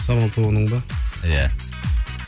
самал тобының ба иә